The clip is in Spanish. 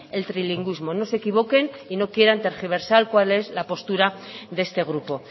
el trilingüismo no se equivoquen y no quieran tergiversar cuál es la postura de este grupo